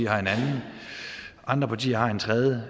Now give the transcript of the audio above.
har en anden andre partier har en tredje